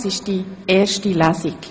Dies ist die erste Lesung.